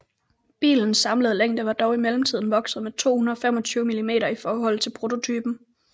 Bilens samlede længde var dog i mellemtiden vokset med 225 mm i forhold til prototypen